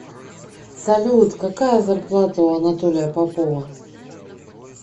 салют какая зарплата у анатолия попова